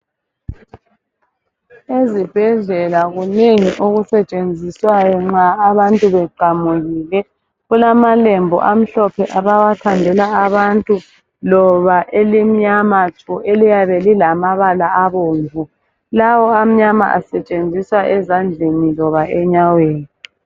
Ezibhedlela kunengi okusetshenziswayo nxa abantu beqamukile. Kulamalembu amhlophe abawathandela abantu loba elimnyama tshu eliyabe lilamabala abomvu. Lawa amnyama asetshenziswa ezandleni loba enyaweni.